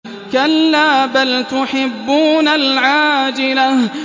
كَلَّا بَلْ تُحِبُّونَ الْعَاجِلَةَ